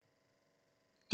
DR2